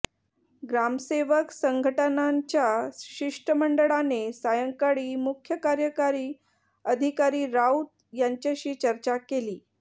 ग्रामसेवक संघटनांच्या शिष्टमंडळाने सायंकाळी मुख्य कार्यकारी अधिकारी राऊत यांच्याशी चर्चा केली